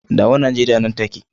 Dawo Nigeria nan take.